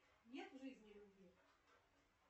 нет в жизни любви